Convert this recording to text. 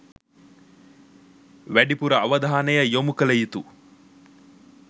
වැඩිපුර අවධානය යොමු කළ යුතු